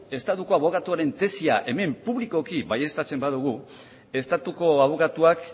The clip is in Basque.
estatuaren abokatuaren tesia hemen publikoki baieztatzen badugu estatuko abokatuak